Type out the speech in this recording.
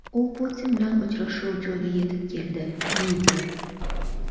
U Putin bilan uchrashuv joyiga yetib keldi.